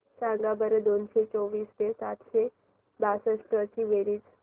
सांगा बरं दोनशे चोवीस व सातशे बासष्ट ची बेरीज